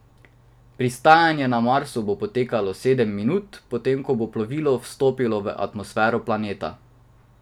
Pristajanje na Marsu bo potekalo sedem minut, potem ko bo plovilo vstopilo v atmosfero planeta.